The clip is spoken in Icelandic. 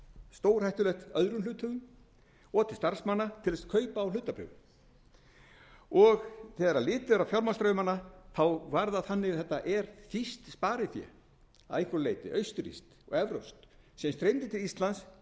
stórhættulegt öðrum hluthöfum og til starfsmanna til kaupa á hlutabréfum þegar litið er á fjármagnsstraumana var það þannig að þetta er þýskt sparifé að einhverju leyti austurrískt og evrópskt sem streymdi til íslands